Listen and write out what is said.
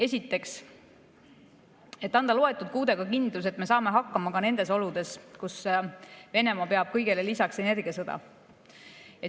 Esiteks, et anda loetud kuudega kindlus, et me saame hakkama ka nendes oludes, kus Venemaa peab kõigele lisaks energiasõda.